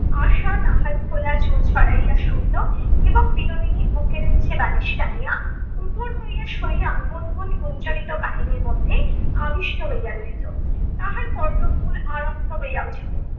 আশা তাহার খোলা চুল ছড়াইয়া শুইত এবং বিনোদিনী্ বুকের নিচে বালিশ টানিয়া উপুড় হইয়া শুইয়া গুন্ গুন্ গুঞ্চরিত কাহিনীর মধ্যে আবিষ্ট হইয়া রহিত। তাহার কর্ণ মূল আরক্ত হইয়া উঠিত